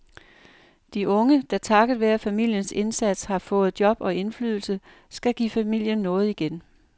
De unge, der takket være familiens indsats har fået job og indflydelse, skal give familien noget igen.